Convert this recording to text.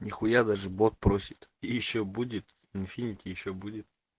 нихуя даже бот просит ещё будет инфинити ещё будет